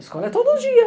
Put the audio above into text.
Escola é todo dia.